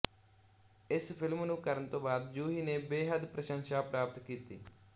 ਇਸ ਫਿਲਮ ਨੂੰ ਕਰਨ ਤੋਂ ਬਾਅਦ ਜੂਹੀ ਨੇ ਬੇਹਦ ਪ੍ਰਸ਼ੰਸ਼ਾ ਪ੍ਰਾਪਤ ਕੀਤੀ